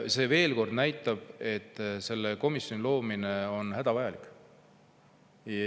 See veel kord näitab, et selle komisjoni loomine on hädavajalik.